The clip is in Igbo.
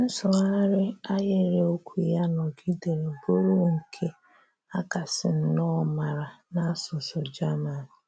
Nsụ̀gharị ahịrị okwu ya nọ́gìdèrè bụrụ̀ nke a kàsị̀ nnọọ màrà n’àsụ̀sụ̀ German.